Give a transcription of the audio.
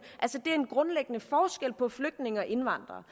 det er en grundlæggende forskel på flygtninge og indvandrere